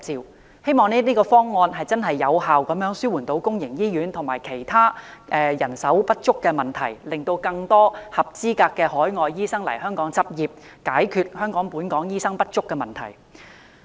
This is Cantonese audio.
我希望這方案能真正有效紓緩公營醫院及其他人手不足的問題，令更多合資格的海外醫生來港執業，解決本港醫生不足的問題。